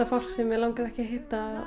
fólk sem mig langaði ekki að hitta